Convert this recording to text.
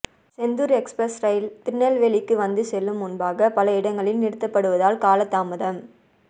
Chendur express ரயில் திருநெல்வேலிக்கு வந்து செல்லும் முன்பாக பல இடங்களில் நிறுத்தப்படுவதால் காலதாமதம்